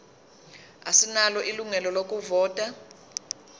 asinalo ilungelo lokuvota